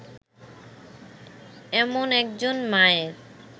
এমন একজন মায়ের